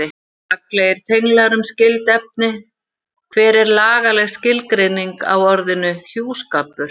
Gagnlegir tenglar um skyld efni Hver er lagaleg skilgreining á orðinu hjúskapur?